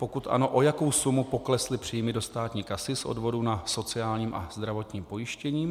Pokud ano, o jakou sumu poklesly příjmy do státní kasy z odvodů na sociálním a zdravotním pojištění.